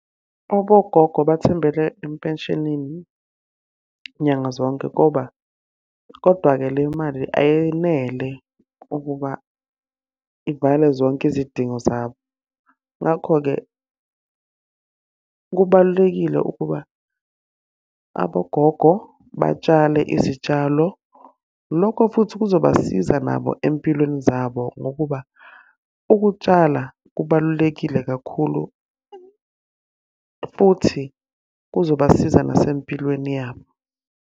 Abogogo bathembele empeshenini nyanga zonke, ngoba kodwa-ke le mali ayenele ukuba ivale zonke izidingo zabo. Ngakho-ke, kubalulekile ukuba, abogogo batshale izitshalo. Lokho futhi kuzobasiza nabo empilweni zabo ngokuba, ukutshala kubalulekile kakhulu futhi kuzobasiza nasempilweni yabo.